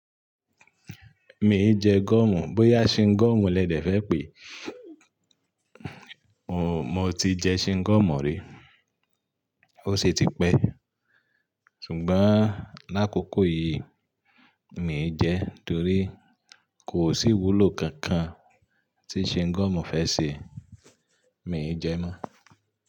Mi e jẹ́ gọ́mù, bóyá Shingọmu lẹ́dẹ̀ fẹ́ pè é, mo ti jẹ Shingomu rí, ó sì ti pẹ́. Ṣùgbọ́n l'ákókò yìí mi e jẹ, torí kò sí ìwúlò kankan tí Shingomu fẹ́ ṣe, mi e jẹ mọ́